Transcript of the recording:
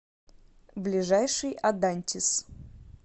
ближайший адантис